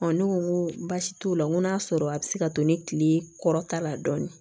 ne ko n ko baasi t'o la n ko n'a sɔrɔ a bɛ se ka to ni tile kɔrɔta la dɔɔni